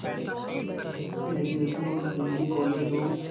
graduation और Guindy college of